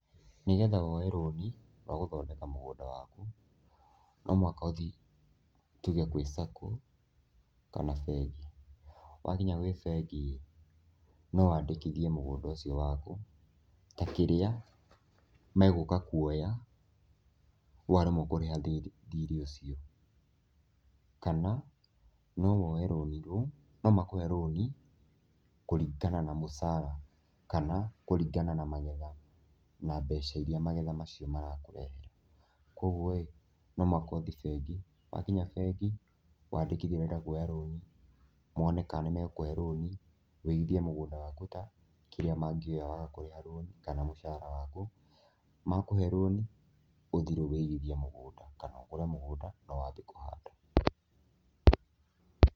Nĩgetha woye rũni rwa gũthondeka mũgũnda waku, no mũhaka ũthiĩ tuge gwi sacco kana bengi, wakinya kwĩ bengi no wandĩkithie mũgũnda ũcio waku ta kĩrĩa megũka kuoya waremwo kũrĩha thirĩ ucio waku kana no makũhe rũni kũringana na mũcara kana kũringana na magetha na mbeca iria magetha macio marakũhe, kwoguo rĩ nomũhaka ũthiĩ bengi, wakinya bengi wandĩkithie ũrenda kuoya rũni mone kana nĩmegũkũhe rũni ũigithie mũgũnda waku ta kĩrĩa mangĩoya waga kũriha rũni kana mũcaara waku, maakũhe rũni ũthiĩ rĩu ũigithie mũgũnda kana ũgũre mũgũnda na wambie kũhanda.